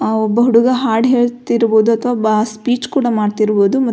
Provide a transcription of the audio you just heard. ಒಬ್ಬ ಹುಡುಗ ಹಾಡು ಹೇಳ್ತಿರ್ಬಹುದು ಅಥವ ಸ್ಪೀಚ್ ಕೂಡ ಮಾಡ್ತಿರ್ಬಹುದು ಮತ್ತು.